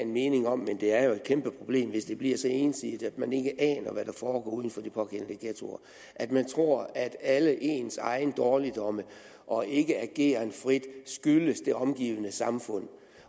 meninger men det er jo et kæmpe problem hvis det bliver så ensidigt at man ikke aner hvad der foregår uden for de pågældende ghettoer at man tror at alle ens egne dårligdomme og ikke ageren frit skyldes det omgivende samfund